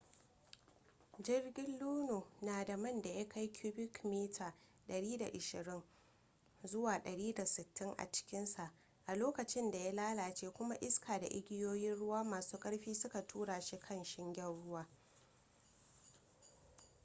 jirgin luno na da man da ya kai cubic mita 120-160 a cikinsa a lokacin da ya lalace kuma iska da igiyoyin ruwa masu ƙarfi suka tura shi kan shingen ruwa